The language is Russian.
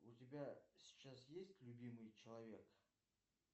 у тебя сейчас есть любимый человек